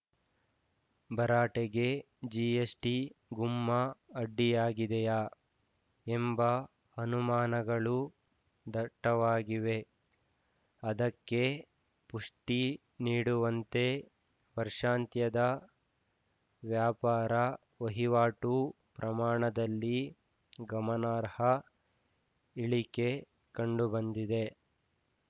ಭರಾಟೆಗೆ GST ಗುಮ್ಮ ಅಡ್ಡಿಯಾಗಿದೆಯಾ ಎಂಬ ಅನುಮಾನಗಳು ದಟ್ಟವಾಗಿವೆ ಅದಕ್ಕೆ ಪುಷ್ಠಿ ನೀಡುವಂತೆ ವರ್ಷಾಂತ್ಯದ ವ್ಯಾಪಾರ ವಹಿವಾಟು ಪ್ರಮಾಣದಲ್ಲಿ ಗಮನಾರ್ಹ ಇಳಿಕೆ ಕಂಡುಬಂದಿದೆ